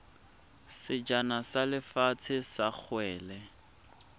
sejana sa lefatshe sa kgwele